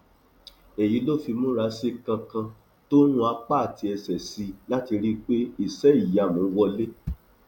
èyí ló fi múra sí i kankan tó rún apá àti ẹsẹ sí i láti rí i pé iṣẹìyamù wọlẹ